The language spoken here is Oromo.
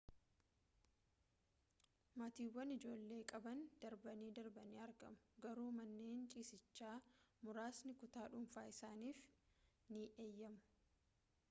maatiiwwan ijoollee qaban darbanii darbanii argamu garuu manneen ciisichaa muraasni kutaa dhuunfaa isaaniif ni eeyyamu